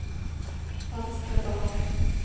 venstre bak